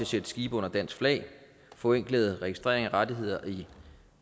sætte skibe under dansk flag forenklet registrering af rettigheder i